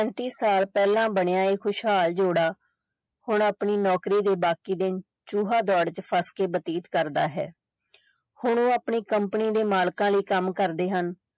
ਸਾਲ ਪਹਿਲਾਂ ਬਣਿਆ ਇਹ ਖੁਸ਼ਹਾਲ ਜੋੜਾ ਹੁਣ ਆਪਣੀ ਨੌਕਰੀ ਦੇ ਬਾਕੀ ਦਿਨ ਚੂਹਾ ਦੌੜ ਚ ਫੱਸ ਕੇ ਬਤੀਤ ਕਰਦਾ ਹੈ ਹੁਣ ਉਹ ਆਪਣੀ company ਦੇ ਮਾਲਕਾਂ ਲਈ ਕੰਮ ਕਰਦੇ ਹਨ।